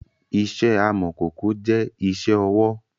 Ìṣe amọ̀kòkò jẹ́ ìṣe ọwọ́